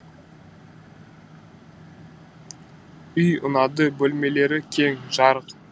үй ұнады бөлмелері кең жарық